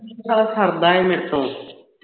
ਯਾਰ ਸੜਦਾ ਹੈ ਮੇਰੇ ਤੋਂ